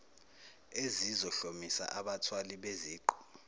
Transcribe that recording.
ezizohlomisa abathwali beziqu